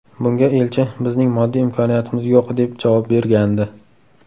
Bunga elchi ‘Bizning moddiy imkoniyatimiz yo‘q”, deb javob bergandi.